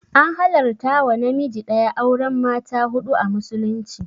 An halarta wa namiji ɗaya auren mata huɗu a musulunci